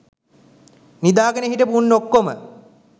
නිදා ගෙන හිටපු උන් ඔක්කොම